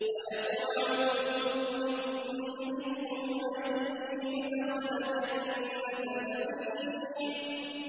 أَيَطْمَعُ كُلُّ امْرِئٍ مِّنْهُمْ أَن يُدْخَلَ جَنَّةَ نَعِيمٍ